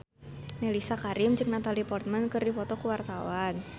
Mellisa Karim jeung Natalie Portman keur dipoto ku wartawan